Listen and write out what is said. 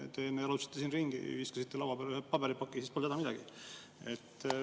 Te enne jalutasite siin ringi ja viskasite laua peale ühe paberipaki, siis polnud häda midagi.